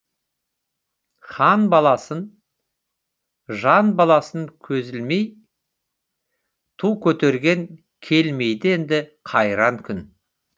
хан баласын жан баласын көзге ілмей ту көтерген келмейді енді қайран күн